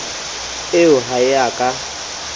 eo ha e a ka